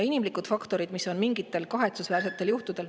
Inimlikud faktorid, mis mingitel kahetsusväärsetel juhtudel ...